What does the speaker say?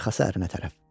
Arxası ərinə tərəf.